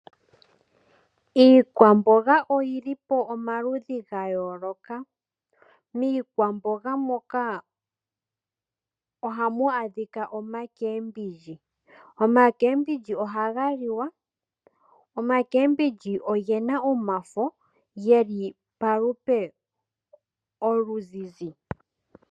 Iikwamboga oyi li pomaludhi ga yooloka. Miikwamboga moka ohamu adhika oomboga dhomitse ndhoka hadhi liwa, oomboga dhomitse odhina omafo ge li palupe oluzizi.